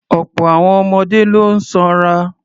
Ọ̀pọ̀ àwọn ọmọdé ló sanra.